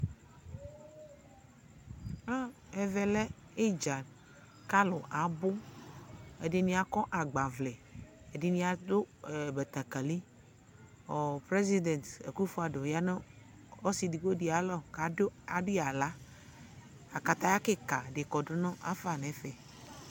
Ɛvɛlɛ idza ku alu abu ɛdini akɔ agbavlɛ ɛdini adu batakali Prezida Okufɔ Ado yanu ɔsi edigbo di ayalɔ ku adui aɣla kataya kika di kɔ du ma nu ɛfɛ